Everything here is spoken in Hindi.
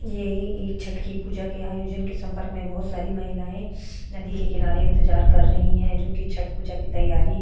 यह एक छठ की पूजा के आयोजन के संपर्क में बहुत सारी महिलाएं नदी के किनारे इंतजार कर रही है जो की छठ पूजा की तैयारी --